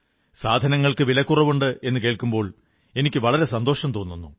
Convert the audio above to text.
സാധനങ്ങൾക്കു വിലക്കുറവുണ്ട് എന്നു കേൾക്കുമ്പോൾ എനിക്കു വളരെ സന്തോഷം തോന്നുന്നു